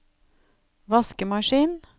vaskemaskin